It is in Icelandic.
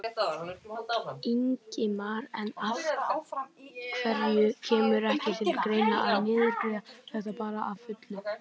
Ingimar: En af hverju kemur ekki til greina að niðurgreiða þetta bara að fullu?